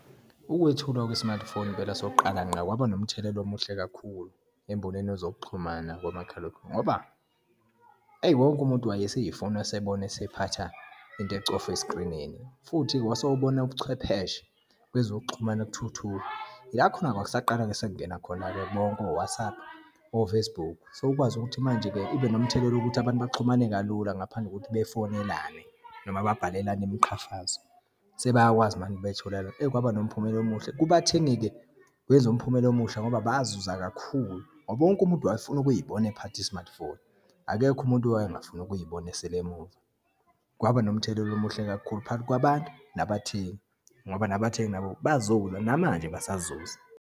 Ukwethulwa kwe-smartphone impela sokuqala ngqa, kwaba nomthelela omuhle kakhulu, embonweni yezokuxhumana komakhalekhukhwini. Ngoba, eyi wonke umuntu wayeseyifuna esebona esephatha into ecofa eskrinini, futhi wase ubona ubuchwepheshe kwezokuxhumana kuthuthuka. Ila khona kwakusaqala-ke sekungena khona-ke bonke o-WhatsApp, o-Facebook, sowukwazi ukuthi manje-ke kube nomthelelo wokuthi abantu baxhumane kalula, ngaphandle kokuthi bafonelane noma babhalelene imiqhafazo, sebeyakwazi manje betholane, eyi kwaba nomphumela omuhle. Kubathengi-ke kwenza umphumela omusha ngoba bazuza kakhulu, ngoba wonke umuntu wayefuna ukuyibona ephatha i-smartphone. Akekho umuntu wayengafuni ukuyibona esele emuva. Kwaba nomthelela omuhle kakhulu phakathi kwabantu nabathengi, ngoba nabathengi nabo bazuza namanje basazuza.